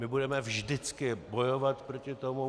My budeme vždycky bojovat proti tomu.